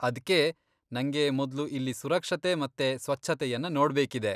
ಅದ್ಕೇ, ನಂಗೆ ಮೊದ್ಲು ಇಲ್ಲಿ ಸುರಕ್ಷತೆ ಮತ್ತೆ ಸ್ವಚ್ಛತೆಯನ್ನ ನೋಡ್ಬೇಕಿದೆ.